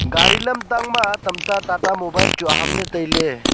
gari lamtang ma tamta tata mobile chu ahamle tailey.